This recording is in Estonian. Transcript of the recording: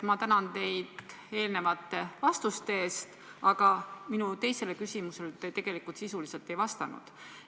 Ma tänan teid eelmiste vastuste eest, aga tegelikult te minu teisele küsimusele sisuliselt ei vastanud.